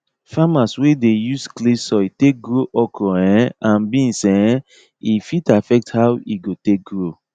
farmers wey dey use clay soil take grow okra um and beans um e fit affect how e go take grow